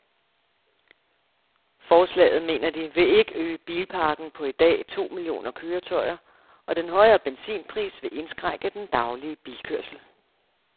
Forslaget, mener de, vil ikke øge bilparken på i dag to millioner køretøjer, og den højere benzinpris vil indskrænke den daglige bilkørsel.